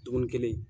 Dumuni kelen